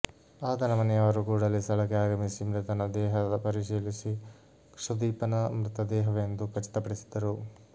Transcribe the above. ಆತನ ಮನೆಯವರು ಕೂಡಲೇ ಸ್ಥಳಕ್ಕೆ ಆಗಮಿಸಿ ಮೃತ ದೇಹದ ಪರಿಶೀಲಿಸಿ ಸುದೀಪನ ಮೃತದೇಹವೆಂದು ಖಚಿತಪಡಿಸಿದರು